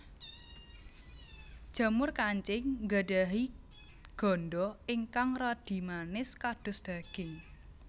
Jamur kancing nggadhahi ganda ingkang radi manis kados daging